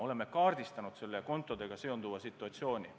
Oleme kaardistanud kontodega seonduva situatsiooni.